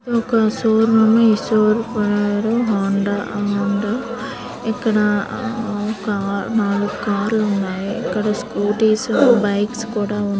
Show room ఉంది. Showroom పేరు Hyundai Honda ఇక్కడ ఒక నాలుగు కార్లు ఉన్నాయి. ఇక్కడ స్కూటీస్ బైక్స్ కూడా ఉన్నాయి.